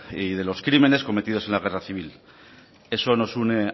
y de los crímenes cometidos en la guerra civil eso nos une